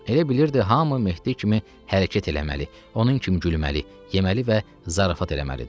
Elə bilirdi, hamı Mehdi kimi hərəkət eləməli, onun kimi gülməli, yeməli və zarafat eləməlidir.